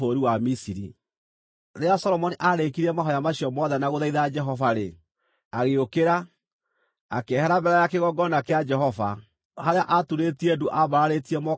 Rĩrĩa Solomoni aarĩkirie mahooya macio mothe na gũthaitha Jehova-rĩ, agĩũkĩra, akĩehera mbere ya kĩgongona kĩa Jehova, harĩa aaturĩtie ndu aambararĩtie moko make na igũrũ.